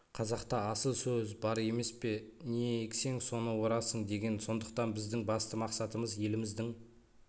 қазақта асыл сөз бар емес пе не ексең соны орасың деген сондықтан біздің басты мақсатымыз еліміздің